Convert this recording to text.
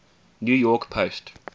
new york post